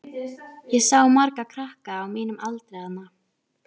Ég sá marga krakka á mínum aldri þarna.